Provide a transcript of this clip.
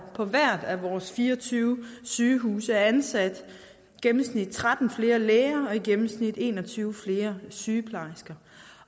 på hvert af vores fire og tyve sygehuse er ansat tretten flere læger og i gennemsnit en og tyve flere sygeplejersker